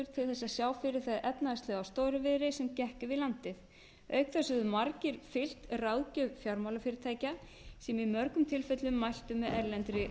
til að sjá fyrir það efnahagslega stórviðri sem gekk yfir landið auk þess höfðu margir fylgt ráðgjöf fjármálafyrirtækja sem í mörgum tilfellum mæltu með erlendri